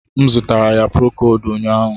M zụtara ya prokod ụnyahụ